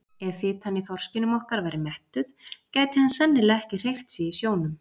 Ef fitan í þorskinum okkar væri mettuð gæti hann sennilega ekki hreyft sig í sjónum!